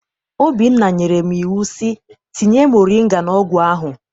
Obinna nyere m iwu sị, tinye moringa n'ọgwụ ahụ!